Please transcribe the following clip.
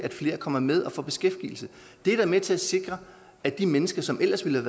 flere kommer med og får beskæftigelse er da med til at sikre at de mennesker som ellers ville